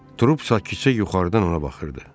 Trup isə kökə yuxarıdan ona baxırdı.